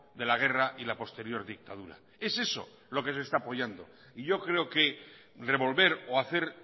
de la guerra y la posterior dictadura es eso lo que se está apoyando y yo creo que revolver o hacer